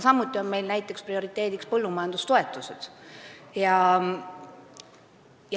Samuti on prioriteediks näiteks põllumajandustoetused.